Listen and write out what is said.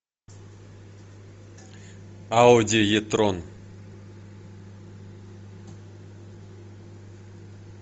ауди е трон